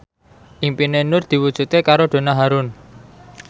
impine Nur diwujudke karo Donna Harun